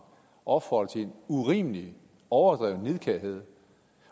opfordrer til urimelig og overdreven nidkærhed